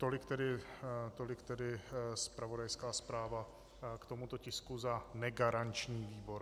Tolik tedy zpravodajská zpráva k tomuto tisku za negaranční výbor.